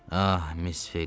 Ah, Miss Ophelia!